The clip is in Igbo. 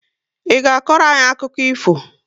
Ị ga akọrọ anyị akụkọ ifo?